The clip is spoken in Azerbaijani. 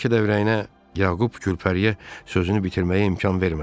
Bəlkə də ürəyinə Yaqub Külpəriyə sözünü bitirməyə imkan vermədi.